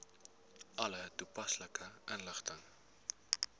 alle toepaslike inligting